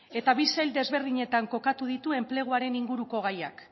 eta bi sail ezberdinetan kokatu ditu enpleguaren inguruko gaiak